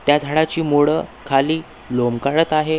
त्या झाडाची मूळ खाली लोमकळत आहे.